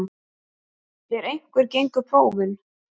En hvernig gengu prófin?